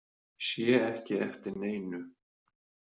Sé ekki eftir neinu